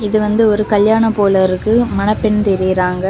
இது வந்து ஒரு கல்யாணம் போல இருக்கு மணப்பெண் தெரியுறாங்க.